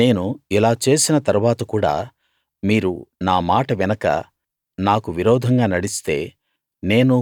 నేను ఇలా చేసిన తరువాత కూడా మీరు నా మాట వినక నాకు విరోధంగా నడిస్తే